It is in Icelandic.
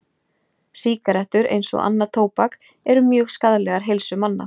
Sígarettur, eins og annað tóbak, eru mjög skaðlegar heilsu manna.